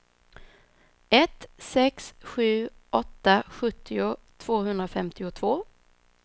ett sex sju åtta sjuttio tvåhundrafemtiotvå